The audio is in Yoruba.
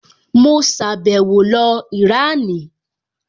Mo sàbẹ̀wo lọ Ìránì